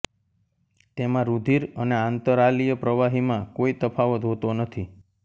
તેમાં રુધિર અને આંતરાલીય પ્રવાહીમાં કોઇ તફાવત હોતો નથી